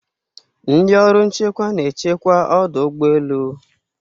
ndị ọrụ nchekwa na-echekwa ọdụ ụgbọ elu